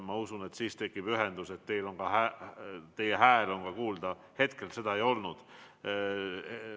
Ma usun, et siis tekib ühendus ja ka teie häält on kuulda, hetkel see nii ei ole.